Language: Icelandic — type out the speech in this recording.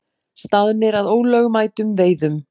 Staðnir að ólögmætum veiðum